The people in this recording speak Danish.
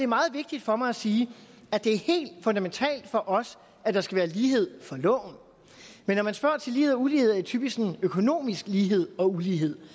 meget vigtigt for mig at sige at det er helt fundamentalt for os at der skal være lighed for loven men når man spørger til lighed og ulighed er det typisk sådan økonomisk lighed og ulighed